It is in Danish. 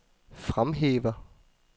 fremhæver